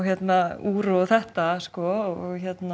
úr og þetta sko